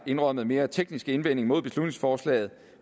indrømmet mere tekniske indvending mod beslutningsforslaget